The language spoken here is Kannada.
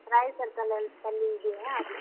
Rai circle ಅಲ್ ಅಲ್ಲಿ ಇದೀನಿ ಅದ್.